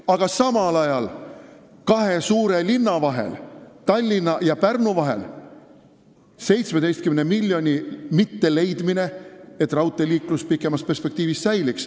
Aga samal ajal ei leitud raudteele kahe suure linna vahel, Tallinna ja Pärnu vahel, 17 miljonit, et raudteeliiklus pikemas perspektiivis säiliks.